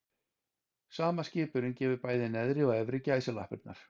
Sama skipunin gefur bæði neðri og efri gæsalappirnar.